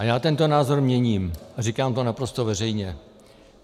A já tento názor měním a říkám to naprosto veřejně.